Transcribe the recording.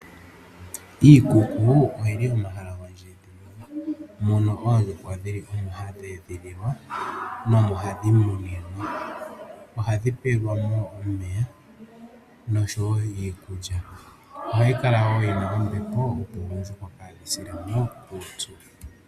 Iikuku oyili omahala gondjedhililo mono oondjuhwa hadhi edhililwa mo omo hadhi muninwa. Ohadhi pelwamo omeya noshowo iikulya. Ohayi kala wo yina ombepo opo oondjuhwa kaadhi silemo uupyu.